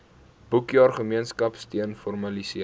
boekjaar gemeenskapsteun formaliseer